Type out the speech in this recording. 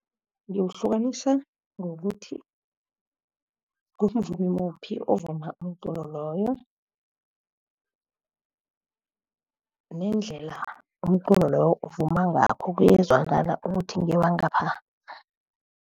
Ngiwuhlukanisa ngokuthi kumvumi muphi ovuma umculo loyo, nendlela umculo loyo uvuma ngakho kuyezwakala ukuthi ngewangapha.